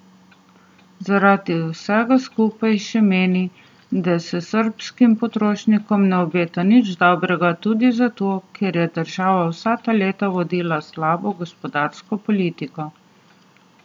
Zaradi vsega skupaj še meni, da se srbskim potrošnikom ne obeta nič dobrega, tudi zato, ker je država vsa ta leta vodila slabo gospodarsko politiko.